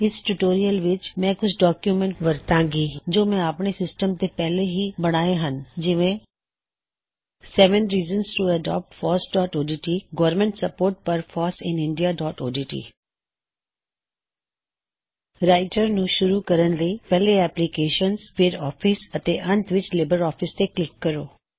ਇਸ ਟਿਊਟੋਰਿਯਲ ਵਿੱਚ ਮੈ ਕੁਛ ਡੌਕਯੁਮੈੱਨਟ ਵਰਤਾਂ ਗਾ ਜੋ ਮੈ ਅਪਣੇ ਸਿਸਟਮ ਤੇ ਪਹਿਲੇ ਹੀ ਬਣਾਏ ਹੱਨ ਜਿਵੇਂ seven reasons to adopt FOSS dot O D T government support for FOSS in India dot O D T seven reasons to adopt fossਓਡਟ government support for foss in indiaਓਡਟ ਰਾਇਟਰ ਨੂੰ ਸ਼ੁਰੂ ਕਰਣ ਲਈ ਪਹਿਲੇ ਐਪਲਿਕੇਸ਼ਨਜ਼ ਫੇਰ ਆਫਿਸ ਅਤੇ ਅੰਤ ਵਿੱਚ ਲਿਬਰ ਆਫਿਸ ਤੇ ਕਲਿੱਕ ਕਰੋ